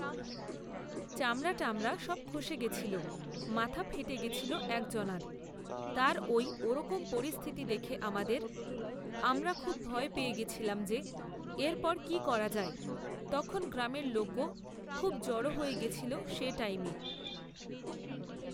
চামড়া টামড়া সব খসে গেছিল মাথা ফেটে গেছিল একজনার, তার ওই ওরকম পরিস্থিতি দেখে আমাদের, আমরা খুবই ভয় পেয়ে গেছিলাম যে এরপর কি করা যায় তখন গ্রামের লোকও খুব জড়ো হয়ে গেছিল সে টাইমে